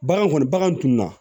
Bagan kɔni bagan tunna